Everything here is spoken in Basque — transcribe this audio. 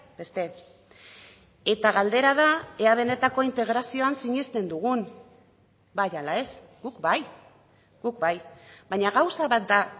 beste eta galdera da ea benetako integrazioan sinesten dugun bai ala ez guk bai guk bai baina gauza bat da